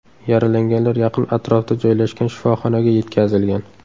Yaralanganlar yaqin atrofda joylashgan shifoxonaga yetkazilgan.